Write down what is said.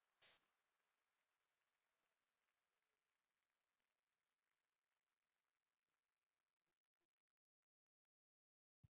Lóa: Hvernig myndirðu lýsa samkeppninni á milli bankanna?